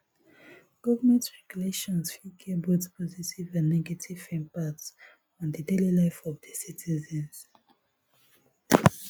government regulations fit get both positive and negative impact on di daily life of di citizens